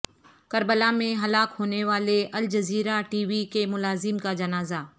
Karbala میں ہلاک ہونے والے الجزیرہ ٹی وی کے ملازم کا جنازہ